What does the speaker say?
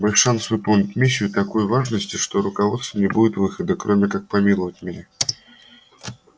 мой шанс выполнить миссию такой важности что у руководства не будет выхода кроме как помиловать меня